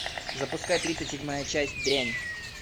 запускай тридцать седьмая часть дрянь